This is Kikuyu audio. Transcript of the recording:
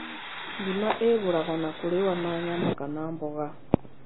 Ngima ĩihũragwo na kũrĩyo na nyama kana mboga.